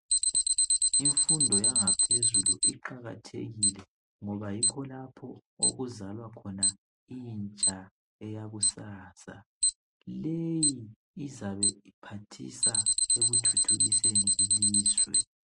Imfundo yangaphezulu iqakathekile ngoba yikho lapho okuzalwa khona intsha eyakusasa . Leyi izabe iphathisa ekuthuthukiseni ilizwe.